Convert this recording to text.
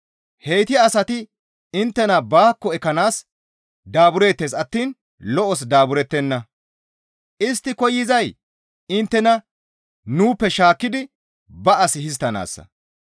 Heyti asati inttena baakko ekkanaas daabureettes attiin lo7os daaburettenna; istti koyzay inttena nuuppe shaakkidi ba as histtanaassa.